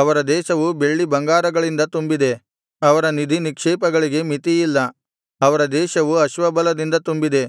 ಅವರ ದೇಶವು ಬೆಳ್ಳಿಬಂಗಾರಗಳಿಂದ ತುಂಬಿದೆ ಅವರ ನಿಧಿನಿಕ್ಷೇಪಗಳಿಗೆ ಮಿತಿಯಿಲ್ಲ ಅವರ ದೇಶವು ಅಶ್ವಬಲದಿಂದ ತುಂಬಿದೆ